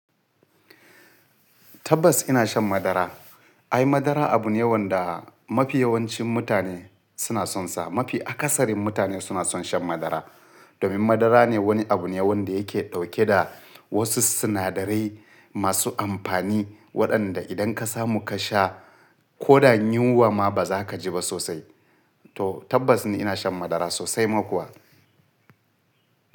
Tabbas ina shan madara. Ai madara abu ne wanda mafi yawancin mutane suna son sa. Mafi akasarin mutane suna son shan madara. Domin madara ne wani abu ne wanda yake dauke da wasu sinadarai masu amfani waɗanda idan ka samu ka sha ko da yinwa ma ba za ka ji ba sosai. To tabbas ni ina shan madara sosai ma kuwa.